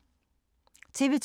TV 2